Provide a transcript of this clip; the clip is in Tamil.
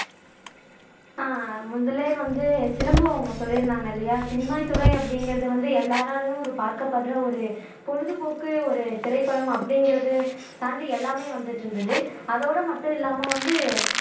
ஆஹ் முதல்லயே வந்து சிலம்பு அவங்க சொல்லி இருந்தாங்க இல்லையா சினிமாத்துறை அப்படிங்குறது வந்து எல்லாராலையும் ஒரு பார்க்கப்படுற ஒரு பொழுதுபோக்கு ஒரு திரைப்படம் அப்படிங்குறது தாண்டி எல்லாமே வந்துட்டு இருந்துது அதோட மட்டும் இல்லாம வந்து